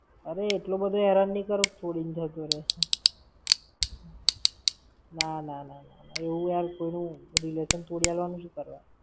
અરે એટલો બધો હેરાન નાઈ કરું કે છોડી ને જતો રેય. ના ના ના. એવું યાર કોઈનું relation તોડી આલવાનું શું કરવા?